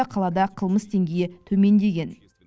қалада қылмыс деңгейі төмендеген